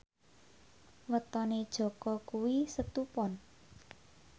wetone Jaka kuwi Setu Pon